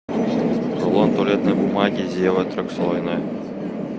рулон туалетной бумаги зева трехслойная